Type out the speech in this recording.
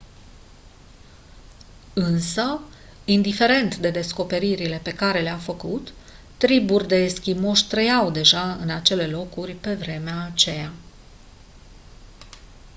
însă indiferent de descoperirile pe care le-a făcut triburi de eschimoși trăiau deja în acele locuri pe vremea aceea